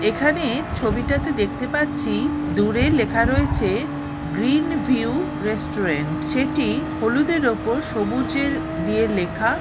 এখানে ছবিটাতে দেখতে পাচ্ছি দূরে লেখা রয়েছে গ্রীন ভিউ রেস্টুরেন্ট । সেটি হলুদের উপর সবুজের দিয়ে লেখা।